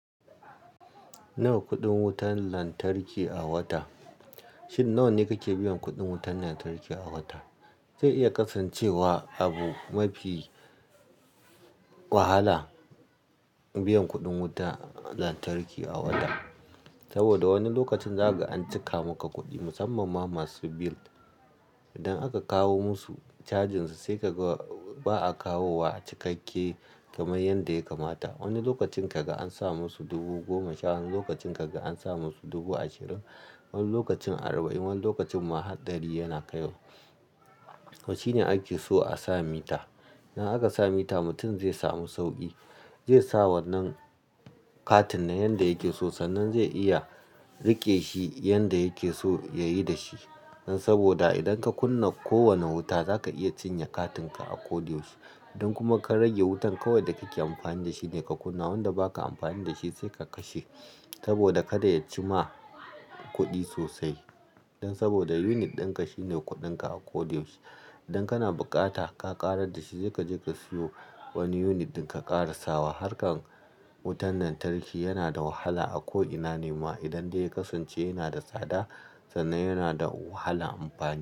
Nawa kuɗin wutar lantarki a wata? Shin, nawa ne kake biyan kuɗin wutar lantarki a wata? Zai iya kasancewa abu mafi wahala biyan kuɗin wuta lantarki a wata. Saboda wani lokacin zaka ga an cika maka kuɗi musamman ma masu bill. Idan aka kawo musu cajin su, sai ka ga ba a kawo wa cikakke kamar yadda ya kamata. Wani lokacin kaga an sa musu dubu goma sha, wani lokacin kaga an sa musu dubu ashirin, wani lokacin arba'in, wani lokacin ma har ɗari yana kaiwa. To shine ake so a sa mita. Idan aka sa mita, mutum zai samu sauƙi. Zai sa wannan katin na yanda yake so, sannan zai iya riƙe shi yanda yake so yayi da shi. Saboda idan ka kunna kowane wuta, zaka iya cinye katinka a koɗayaushe. Idan kuma ka rage wutan, kawai da kake amfani da shi ne ka kunna. Wanda ba ka amfani da shi sai ka kashe saboda kada ya ci ma kuɗi sosai. Don saboda unit dinka shine kuɗinka a kodayaushe. Idan kana bukata ka ƙarar da shi, sai ka je ka siyo wani unit din ka kara sawa. Harkar wutan lantarki yana da wahala a ko ina ne ma. Idan dai ya kasance yana da tsada, sannan yana da wahalar amfani.